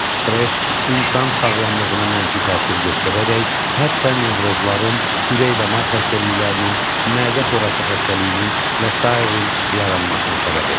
Stress insan sağlamlığına mənfi təsir göstərərək, hətta nevrozların, ürək-damar xəstəliklərinin, mədə xorası xəstəliyinin və sair yaranmasına səbəb olur.